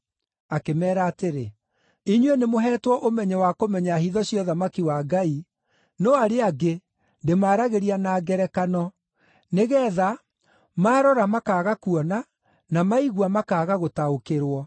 Akĩmeera atĩrĩ, “Inyuĩ nĩmũheetwo ũmenyo wa kũmenya hitho cia ũthamaki wa Ngai, no arĩa angĩ ndĩmaaragĩria na ngerekano, nĩgeetha, “ ‘maarora, makaaga kuona; na maigua, makaaga gũtaũkĩrwo.’